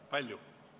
Kui palju?